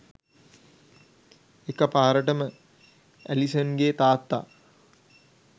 එකපාරටම ඇලිසන්ගේ තාත්තා